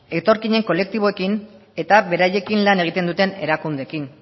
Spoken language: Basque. etorkinen kolektiboekin eta beraiekin lan egiten duten erakundeekin